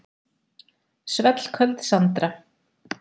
Svellköld Sandra.